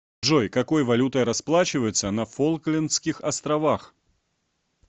джой какой валютой расплачиваются на фолклендских островах